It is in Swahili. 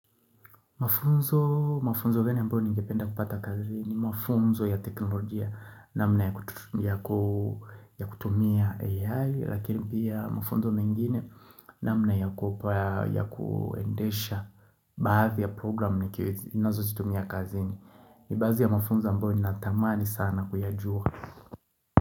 Mafunzo, mafunzo gani ambayo ningependa kupata kazini, mafunzo ya teknolojia namna ya kutumia AI Lakini pia mafunzo mengine namna ya kuendesha baadhi ya programu nikiweza Nazozitumia kazini ni baadhi ya mafunzo ambayo ninatamani sana kuyajua.